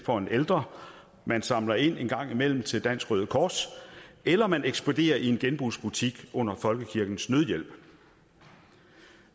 for en ældre samler ind en gang imellem til dansk røde kors eller ekspederer i en genbrugsbutik under folkekirkens nødhjælp